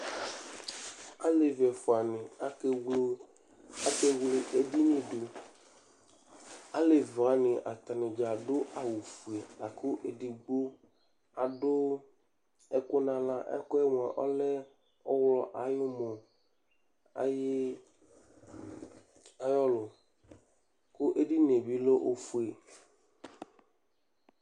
Alevi ɛfʋanɩ akevlo akevle edini dʋ Alevi wanɩ atanɩ dza adʋ awʋfue la kʋ edigbo adʋ ɛkʋ nʋ aɣla Ɛkʋ yɛ ɔlɛ ɔɣlɔ ayʋ ʋmɔ ayɩ alʋ kʋ edini yɛ bɩ lɛ ofue